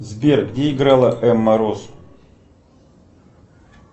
сбер где играла эмма роуз